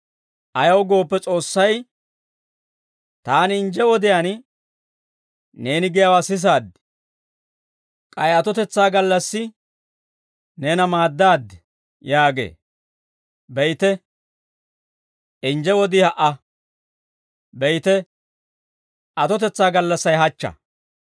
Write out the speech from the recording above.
Ayaw gooppe S'oossay, «Taani injje wodiyaan, neeni giyaawaa sisaad; k'ay atotetsaa gallassi, neena maaddaaddi» yaagee. Be'ite, injje wodii ha"a. Be'ite, atotetsaa gallassay hachcha.